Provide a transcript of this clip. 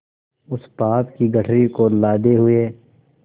उस पाप की गठरी को लादे हुए